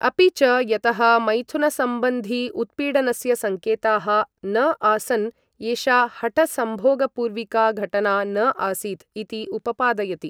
अपि च, यतः मैथुनसम्बन्धि उत्पीडनस्य सङ्केताः न आसन्, एषा हठसम्भोगपूर्विका घटना न आसीत् इति उपपादयति।